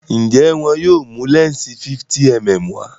njé wón yóò mú lẹnsi 50mm wá?